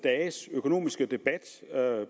dages økonomiske debat